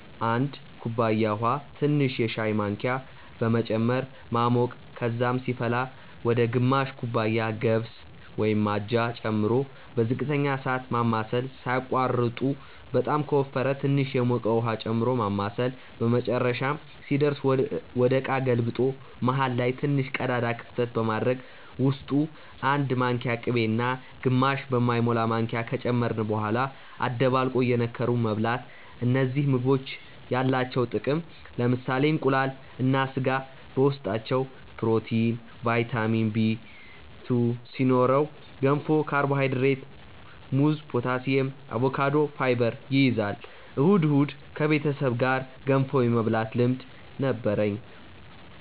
1 ኩባያ ውሃ ትንሽ የሻይ ማንኪያ በመጨመር ማሞቅ ከዛም ሲፈላ ወደ ግማሽ ኩባያ ገብስ (አጃ) ጨምሮ በዝቅተኛ እሳት ማማሰል ሳያቋርጡ በጣም ከወፈረ ትንሽ የሞቀ ውሃ ጨምሮ ማማሳል በመጨረሻም ሲደርስ ወደ እቃ ገልብጦ መሃል ላይ ትንሽ ቀዳዳ ክፍተት በማድረግ ውስጡ 1 ማንኪያ ቅቤ እና ግማሽ በማይሞላ ማንኪያ ከጨመርን በኋላ አደባልቆ እየነከሩ መብላት እነዚህ ምግቦች ያላቸው ጥቅም ለምሳሌ እንቁላል እና ስጋ በውስጣቸው ፕሮቲን፣ ቫይታሚን Bl2 ሲኖረው ገንፎ ካርቦሃይድሬት፣ ሙዝ ፖታሲየም፣ አቮካዶ ፋይበር ይይዛል። እሁድ እሁድ ከቤተሰብ ጋር ገንፎ የመብላት ልምድ ነበርኝ